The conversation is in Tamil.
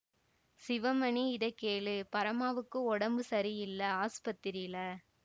சிவமணி இத கேளு பரமாவுக்கு உடம்பு சரியில்ல ஆஸ்பத்திரியில